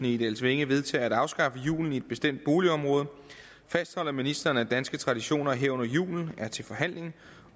i egedalsvænge vedtager at afskaffe julen i et bestemt boligområde fastholder ministeren at danske traditioner herunder julen er til forhandling